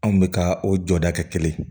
Anw bɛ ka o jɔda kɛ kelen